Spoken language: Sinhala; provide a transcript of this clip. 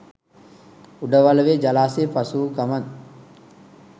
උඩවලවේ ජලාශය පසුවූ ගමන්